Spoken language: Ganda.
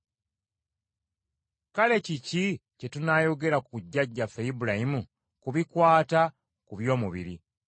Kale kiki kye tunaayogera ku jjajjaffe Ibulayimu ku bikwata ku by’omubiri?